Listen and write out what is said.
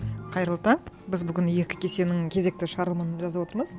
қайырлы таң біз бүгін екі кесенің кезекті шығарылымын жазып отырмыз